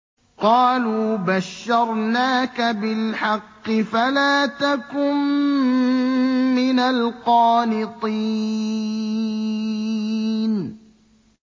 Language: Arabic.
قَالُوا بَشَّرْنَاكَ بِالْحَقِّ فَلَا تَكُن مِّنَ الْقَانِطِينَ